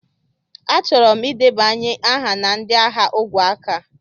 Achọrọ m ịdebanye aha na ndị agha ogwe aka.